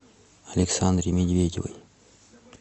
александре медведевой